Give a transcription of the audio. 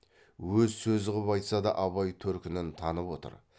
өз сөзі қып айтса да абай төркінін танып отыр